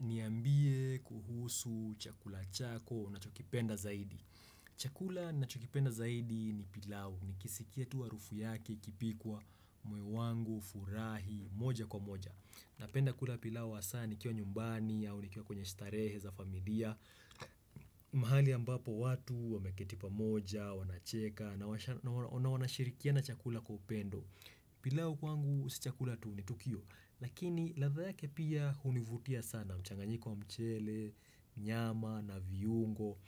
Niambie kuhusu chakula chako unachokipenda zaidi. Chakula ninachokipenda zaidi ni pilau nikisikia tu harufu yake ikipikwa, moyo wangu hufurahi moja kwa moja. Napenda kula pilau hasa nikiwa nyumbani au nikiwa kwenye starehe za familia. Mahali ambapo watu wameketipa moja, wanacheka, na washa na wa, na wanashirikiana chakula kwa upendo. Pilau wangu si chakula tu ni tukio, lakini ladha yake pia hunivutia sana mchanganyiko wa mchele, nyama na viungo.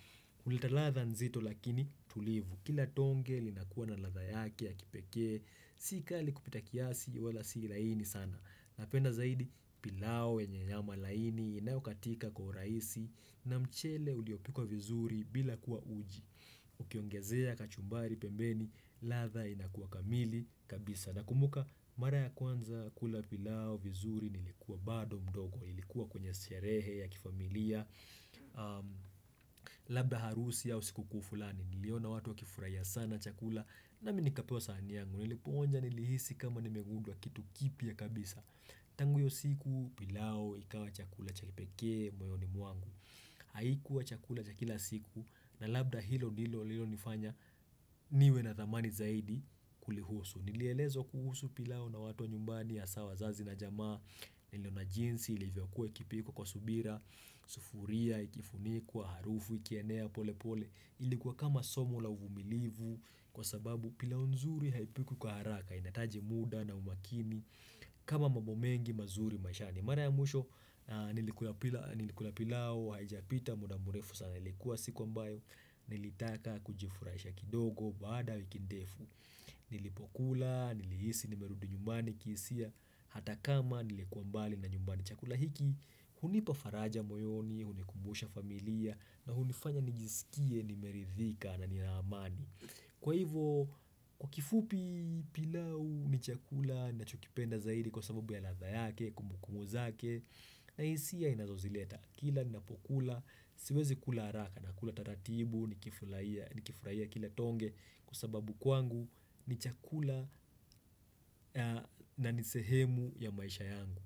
Hulitaladha nzito lakini tulivu. Kila tonge linakuwa na latha yake ya kipeke, sika likupita kiasi wala si laini sana. Napenda zaidi pilau yenye nyama laini inayokatika kwa urahisi na mchele uliopikuwa vizuri bila kuwa uji. Ukiongezea kachumbari pembeni, ladha inakuwa kamili kabisa. Na kumuka mara ya kwanza kula pilau vizuri nilikuwa bado mdogo, ilikuwa kwenye sherehe ya kifamilia, hmm, labda harusi au siku kuu fulani, niliona watu wa kifurahia sana chakula na minikapewa sahani yangu, nilipoonja nilihisi kama nimegunduwa kitu kipya kabisa. Tangu hiyo siku pilau ikawa chakula chakipekee moyoni mwangu. Haikuwa chakula chakila siku na labda hilo ndilo lililo nifanya niwe na thamani zaidi kuli husu, nilielezwa kuhusu pilau na watu wa nyumbani hasa wazazi na jamaa Niliona jinsi ilivyo kue kipikuwa kwa subira, sufuria, ikifunikuwa, harufu, kienea, pole pole ilikuwa kama somo la uvumilivu kwa sababu pilau nzuri haipikwi kwa haraka inahitaji muda na umakini kama mambo mengi mazuri maishani mara ya mwisho ah nilikula pilau nilikula pilau haijapita muda mrefu sana ilikuwa siku ambayo nilitaka kujifurahisha kidogo baada wiki ndefu. Nilipokula nilihisi nimerudu nyumbani kihisia hata kama nilikuwa mbali na nyumbani chakula hiki hunipa faraja moyoni hunikumbusha familia na hunifanya nijisikie nimeridhika na nina amani kwa hivyo kwa kifupi pilau ni chakula ninachokipenda zaidi kwa sababu ya ladha yake, kumbukumbu zake, na hisia inazozileta. Kila ni napokula, siwezi kula haraka na kula taratibu, nikifurahia nikifurahia kila tonge kwa sababu kwangu ni chakula, ah, na nisehemu ya maisha yangu.